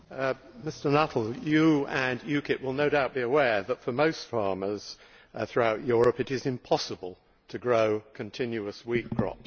Mr Nuttall, you and UKIP will no doubt be aware that for most farmers throughout Europe it is impossible to grow continuous wheat crops.